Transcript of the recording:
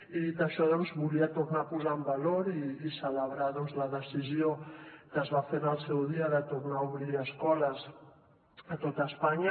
i dit això volia tornar a posar en valor i celebrar la decisió que es va fer en el seu dia de tornar a obrir escoles a tot espanya